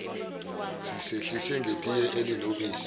sisehlise ngetiye elinobisi